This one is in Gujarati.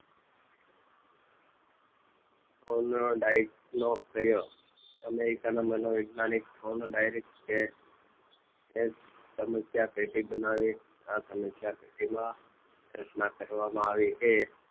જોર્ન ડાઈન નો પ્રયોગ અમેરિકન મનોવિજ્ઞાનિક જોર્ડાનઈન એક સમસ્યા પેટી બનાવી. આ સમસ્યા પેટીમાં રચના કરવામાં એ